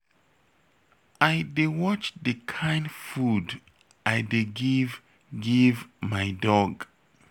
I dey watch the kin food I dey give give my dog